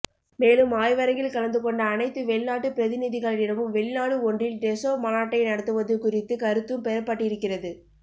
மேலும் ஆய்வரங்கில் கலந்து கொண்ட அனைத்து வெளிநாட்டுப் பிரதிநிதிகளிடமும் வெளிநாடு ஒன்றில் டெசோ மாநாட்டை நடத்துவது குறித்து கருத்தும் பெறப்பட்டிருக்கிறது